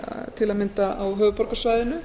til að mynda á höfuðborgarsvæðinu